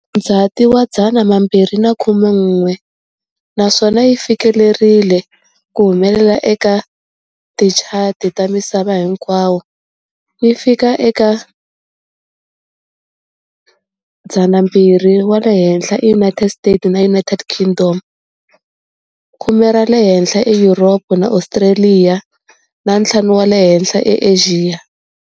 Ndzhati 2011 naswona yi fikelerile ku humelela eka tichati ta misava hinkwayo, yi fika eka 200 wa le henhla eUnited States na United Kingdom, khume ra le henhla eYuropa na Australia na ntlhanu wa le henhla eAsia.